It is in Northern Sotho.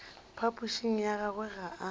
phapošing ya gagwe ga a